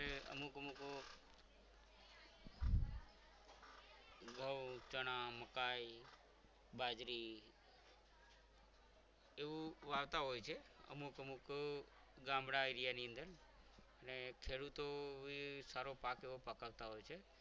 ઘઉં ચણા મકાઈ બાજરી એવું વાવતા હોય છે અમુક અમુક ગામડા area ની અંદર અને ખેડૂતો બી સારો એવો ભાગ પકડતા હોય છે.